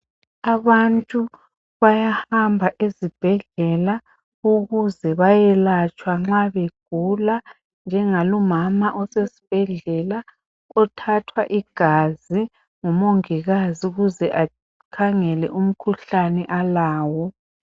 Abantu bayahamba ezibhedlela ukuze bayehlatshwa mabegula, njengalumama osesibhedlela othathwa igazi ngumongikazi ukuze akhangelwe umkhuhlane alawo.